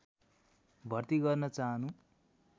भर्ती गर्न चाहनु